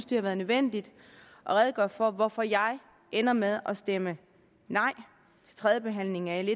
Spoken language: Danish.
det har været nødvendigt at redegøre for hvorfor jeg ender med at stemme nej til tredjebehandlingen af l